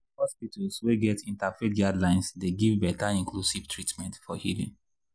hospitals wey get interfaith guidelines dey give better inclusive treatment for healing